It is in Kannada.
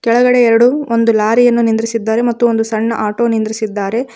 ಕೆಳಗಡೆ ಎರಡು ಒಂದು ಲಾರಿಯನ್ನು ನಿಂದ್ರಿಸಿದ್ದಾರೆ ಮತ್ತು ಒಂದು ಸಣ್ಣ ಆಟೋ ನಿಂದ್ರಿಸಿದ್ದಾರೆ.